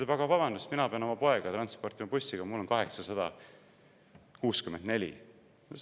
"– "Aga vabandust, mina pean oma poega transportima bussiga, mul on 864.